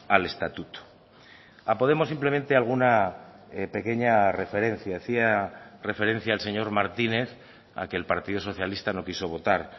al estatuto a podemos simplemente alguna pequeña referencia hacía referencia el señor martínez a que el partido socialista no quiso votar